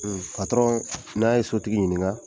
Hun n'a ye sotigi ɲininka